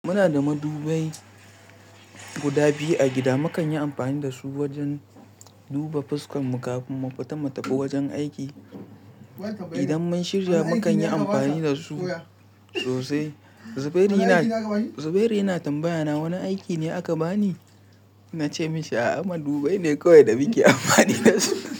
Muna da madubai guda biyu a gida. Makan yi amfani da su wajen duba fuskan mu kafin mu fita mu tafi wajen aiki. Idan mun shirya, mukan yi amfani da su sosai. Zubairu yana tambayaya, "wani aiki ne aka bani?" Na ce mashi, a'a madubai ne kawai da muke amfani da su.